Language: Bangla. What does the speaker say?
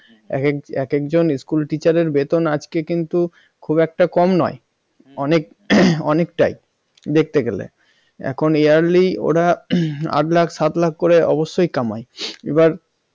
একেক এককে school teacher বেতন আজকে কিন্তু খুব একটা কম নয় অনেক অনেকটাই দেখতে গেলে এখন yearly ওরা আট লাখ সাত লাখ করে অবশ্যই কামান এবার